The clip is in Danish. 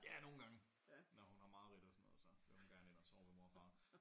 Ja nogen gange når hun har mareridt og sådan noget så vil hun gerne ind og sove ved mor og far